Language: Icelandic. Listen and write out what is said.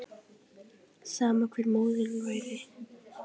Sama hver móðirin væri.